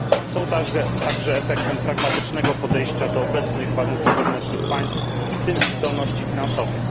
Są także efektem pragmatycznego podejścia do obecnych warunków wewnętrznych państw, w tym ich zdolności finansowych.